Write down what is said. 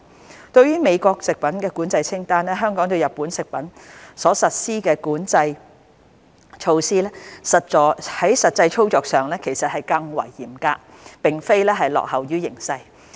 相對於美國的食品管制清單，香港對日本食品所實施的管制措施在實際操作上更為嚴格，而並非落後於形勢。